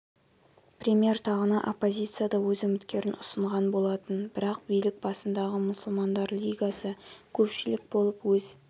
премьер тағына оппозиция да өз үміткерін ұсынған болатын бірақ билік басындағы мұсылмандар лигасы көпшілік болып өз